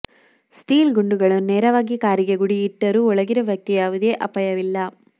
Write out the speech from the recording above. steel ಗುಂಡುಗಳನ್ನು ನೇರವಾಗಿ ಕಾರಿಗೆ ಗುರಿಯಿಟ್ಟರು ಒಳಗಿರುವ ವ್ಯಕ್ತಿಗೆ ಯಾವುದೇ ಅಪಾಯವಿಲ್ಲ